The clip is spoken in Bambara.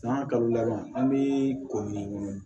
San kalo laban an be ko min